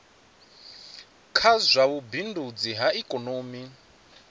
kha zwa vhubindudzi ha ikomoni